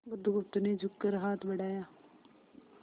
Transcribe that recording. बुधगुप्त ने झुककर हाथ बढ़ाया